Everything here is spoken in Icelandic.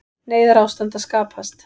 Neyðarástand að skapast